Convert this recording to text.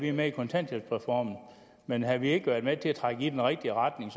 er med i kontanthjælpsreformen men havde vi ikke været med til at trække i den rigtige retning